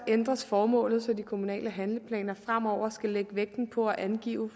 ændres formålet så de kommunale handleplaner fremover skal lægge vægten på at angive